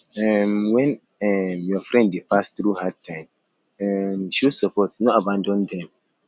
um when um your friend dey pass through hard time um show support no abandon dem